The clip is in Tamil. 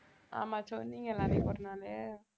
ஆமா சொன்னீங்கல்ல அன்னைக்கு ஒரு நாளு